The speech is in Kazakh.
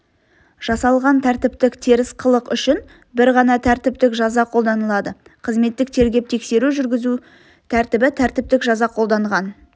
жасалған тәртіптік теріс қылық үшін бір ғана тәртіптік жаза қолданылады қызметтік тергеп-тексеру жүргізу тәртібі тәртіптік жаза қолданған